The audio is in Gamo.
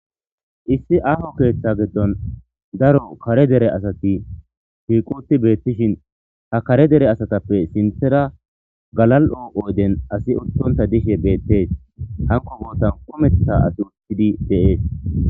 Issi aaho keeththa giddon daro kare dere asati hiiquti beetishin ha kare dere asatappe sinthera galal'oo ooden asi udtonta dishe beettees hanko gootan kumeththa asi uttidi deees.